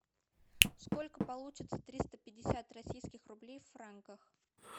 сколько получится триста пятьдесят российских рублей в франках